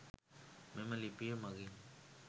මෙම ලිපිය මගින්